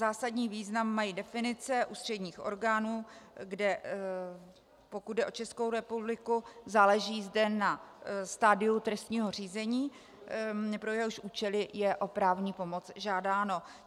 Zásadní význam mají definice ústředních orgánů, kde pokud jde o Českou republiku, záleží zde na stadiu trestního řízení, pro jehož účely je o právní pomoc žádáno.